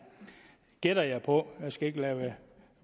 gætter jeg på jeg skal ikke